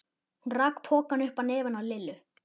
Hún rak pokann upp að nefinu á Lillu.